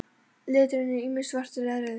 Liturinn er ýmist svartur eða rauður.